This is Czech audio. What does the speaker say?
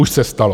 Už se stalo.